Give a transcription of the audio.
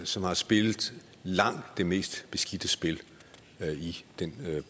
som har spillet langt det mest beskidte spil i den